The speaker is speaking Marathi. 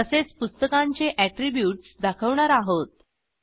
तसेच पुस्तकांचे अॅट्रीब्यूट्स दाखवणार आहोत